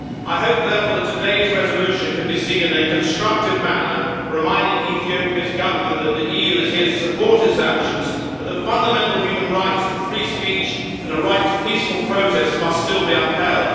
I hope therefore that today's resolution can be seen in a constructive manner, reminding Ethiopia's government that the EU is here to support its actions but that fundamental human rights to free speech and a right to peaceful protest must still be upheld.